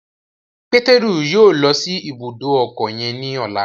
Pétérù yóò lọ si ibùdó ọkọ yen ní ọla